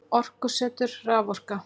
Orkusetur- Raforka.